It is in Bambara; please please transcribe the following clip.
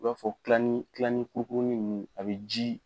I b'a fɔ kilani kilani kurukuruni ninnu a bɛ ji